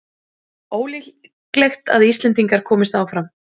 Ólíklegt að Íslendingar komist áfram